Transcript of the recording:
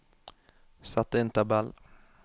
Sett inn tabell